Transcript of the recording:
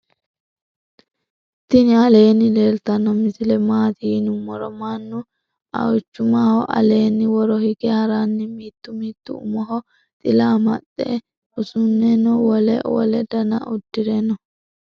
tini aleni leltano misile mati yinumoro manu auchumaho allena woro hige haranni mittu mittu umoho xila amaxe usuneno wole wole dannna udire noo.